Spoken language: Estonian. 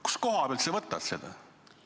Kust kohast sa võtad seda?